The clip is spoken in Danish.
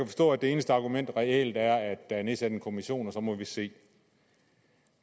forstå at det eneste argument reelt er at der er nedsat en kommission og så må vi se